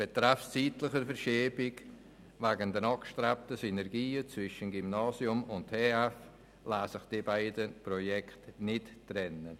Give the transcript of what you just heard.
Betreffend eine zeitliche Verschiebung lassen sich wegen der angestrebten Synergien zwischen Gymnasium und TF Bern die beiden Projekte nicht trennen.